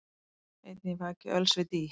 Einn ég vaki öls við dý,